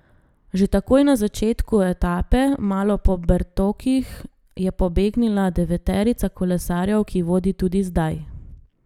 Že takoj na začetku etape malo po Bertokih je pobegnila deveterica kolesarjev, ki vodi tudi zdaj.